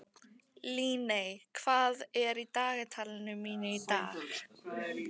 Líney, hvað er í dagatalinu mínu í dag?